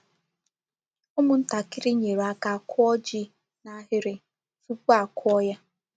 Ụ́mụ̀ntàkịrị nyere aka kwụ̀ ji n’ahịrị tupu a kụ̀ ya.